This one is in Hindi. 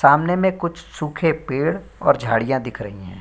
सामने में कुछ सूखे पेड़ और झाड़ियां दिख रही है।